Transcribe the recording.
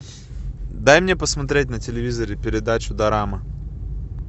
дай мне посмотреть на телевизоре передачу дорама